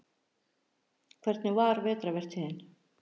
Hvernig var vetrarvertíðin?